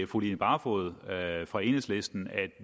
fru line barfod fra enhedslisten at